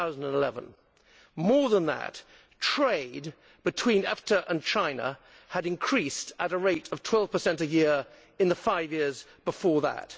2011. More than that, trade between EFTA and China had increased at a rate of 12 a year in the five years before that.